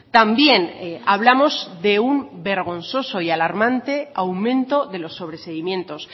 también hablamos de un vergonzoso y alarmante aumento de los sobreseimientos